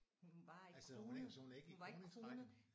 Hun var ikke kronet hun var ikke kronet